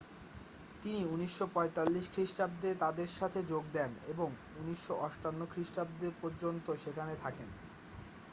তিনি 1945 খ্রিস্টাব্দে তাদের সাথে যোগ দেন ও 1958 খ্রিস্টাব্দ পর্যন্ত সেখানে থাকেন